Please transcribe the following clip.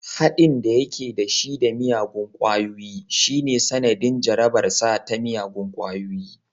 Haɗin da yake da shi da miyagun ƙungiyoyi shine sanadin jarabarsa ta miyagun ƙwayoyi